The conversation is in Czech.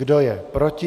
Kdo je proti?